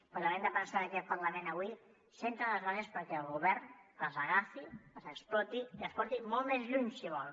però també hem de pensar que aquest parlament avui assenta les bases perquè el govern les agafi les exploti i les porti molt més lluny si vol